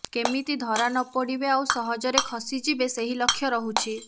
କେମିତି ଧରା ନପଡିବେ ଆଉ ସହଜରେ ଖସିଯିବେ ସେହି ଲକ୍ଷ୍ୟ ରହୁଛି